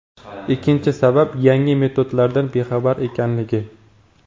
Ikkinchi sabab: Yangi metodlardan bexabar ekanligi.